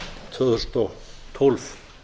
tvö þúsund og tólf